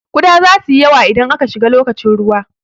Kuɗa zasu yi yawa idan aka shiga lokacin ruwa.